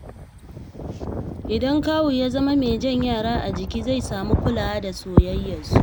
Idan kawu ya zama mai jan yara a jika, zai samu kulawa da soyayyarsu.